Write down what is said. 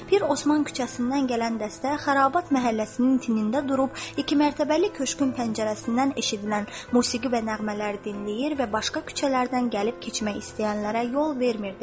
Pir Osman küçəsindən gələn dəstə Xərabat məhəlləsinin tinində durub iki mərtəbəli köşkün pəncərəsindən eşidilən musiqi və nəğmələri dinləyir və başqa küçələrdən gəlib keçmək istəyənlərə yol vermirdi.